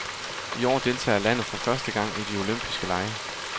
I år deltager landet for første gang i de olympiske lege.